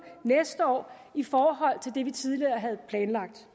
næste år i forhold til det vi tidligere havde planlagt